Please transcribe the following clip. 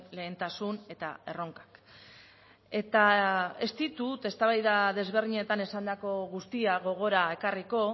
lehentasun eta erronkak eta ez ditut eztabaida ezberdinetan esandako guztia gogora ekarriko